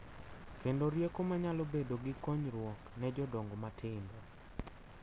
Kendo rieko ma nyalo bedo gi konyruok ne jodongo matindo.